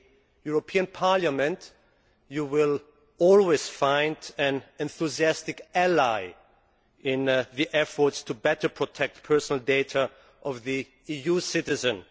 In the European Parliament you will always find an enthusiastic ally in your efforts to better protect the personal data of EU citizens.